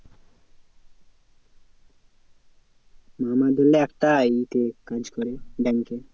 মামা ধরেনে একটা এতে কাজ করে bank এ